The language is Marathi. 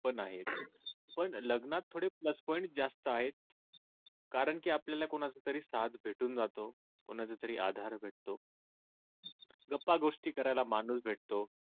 पण आहे पण लग्नात थोडे plus point जास्त आहेत कारंकी आपल्याला कोणाचा तरी साथ भेटून जातो कोणाचा तरी आधार भेटतो गप्पा गोष्टी करायला माणूस भेटतो